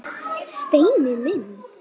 Steini minn.